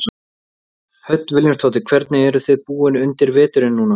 Hödd Vilhjálmsdóttir: Hvernig eruð þið búin undir veturinn núna?